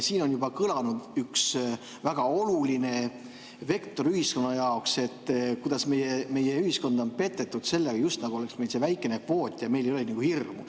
Siin on juba kõlanud üks väga oluline vektor ühiskonna jaoks, kuidas meie ühiskonda on petetud sellega, just nagu oleks meil väike kvoot ja meil ei oleks nagu hirmu.